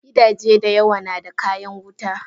Gidaje da yawa nada kayan wuta.